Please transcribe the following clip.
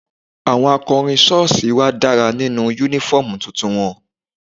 Àwọn akọrin sọ́ọ̀sì wa dára nínú uniform tuntun wọn.